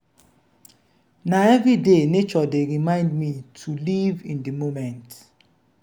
na everyday nature dey remind me to live in di moment.